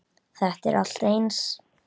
Þetta er allt eins!